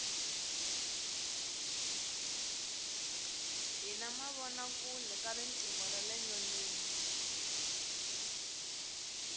hi na mavona kule ka riqingho rale nyoneni